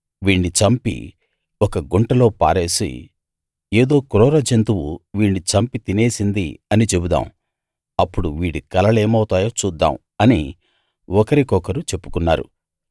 వీణ్ణి చంపి ఒక గుంటలో పారేసి ఏదో క్రూర జంతువు వీణ్ణి చంపి తినేసింది అని చెబుదాం అప్పుడు వీడి కలలేమౌతాయో చూద్దాం అని ఒకరి కొకరు చెప్పుకున్నారు